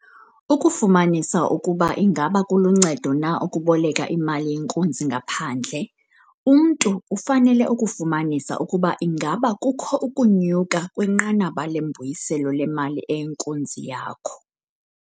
Ukufumanisa ukuba ingaba kuluncedo na ukuboleka imali yenkunzi ngaphandle, umntu ufanele ukufumanisa ukuba ingaba kukho ukunyuka kwinqanaba lembuyiselo lemali eyinkunzi yakho.